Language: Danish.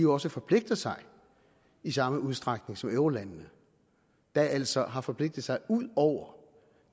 også forpligter sig i samme udstrækning som eurolandene der altså har forpligtet sig ud over